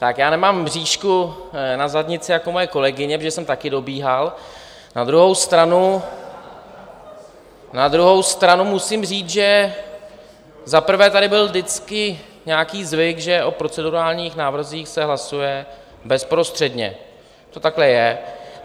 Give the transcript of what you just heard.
Tak já nemám mřížku na zadnici jako moje kolegyně, protože jsem také dobíhal, na druhou stranu musím říct, že za prvé tady byl vždycky nějaký zvyk, že o procedurálních návrzích se hlasuje bezprostředně, to takhle je.